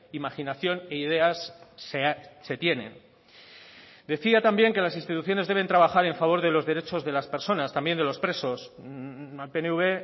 imaginación e ideas se tienen decía también que las instituciones deben trabajar en favor de los derechos de las personas también de los presos al pnv